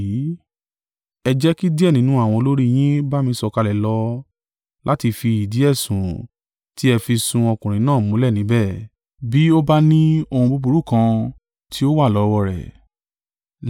Ẹ jẹ́ kí díẹ̀ nínú àwọn olórí yín bá mi sọ̀kalẹ̀ lọ láti fi ìdí ẹ̀sùn tí ẹ fi sun ọkùnrin náà múlẹ̀ níbẹ̀, bí ó bá ní ohun búburú kan tí ó wà lọ́wọ́ rẹ̀.”